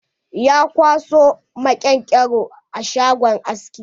Ya kwaso maƙen-ƙero a shagon aski.